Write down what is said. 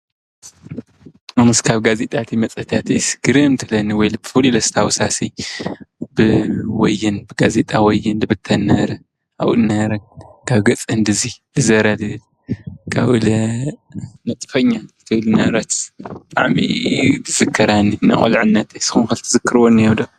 አነስ ካብ ጋዜጣታትን መፅሄታትን ግርም ትብለኒ ብፍሉይ ዘስታውሳሲ ብወይን ጋዜጣ ወይን ዝብተን ዝነበረ አብኡ ዝነበረ ካብ ገፅ ክንዲዚ ዝዞረ ዝብል ካብኡለ ንጥፎኛ ዝብል ዝነበረት ብጣዕሚ እዩን ዝዝከራኒ፡፡ ናይ ቁልዕነት ንስኩም ኸ ትዝክርዎ እኒሀ ዶ?